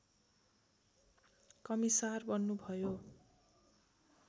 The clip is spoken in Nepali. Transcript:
कमिसार बन्नुभयो